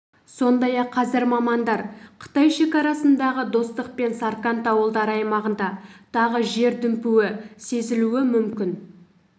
сондай-ақ қазір мамандар қытай шекарасындағы достық пен сарқанд ауылдары аймағында тағы жер дүмпуі сезілуі мүмкін